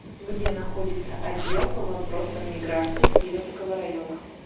где находится отдел по вопросам миграции кировского района